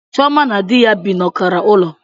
Chioma na di ya bi n'ọkara ulo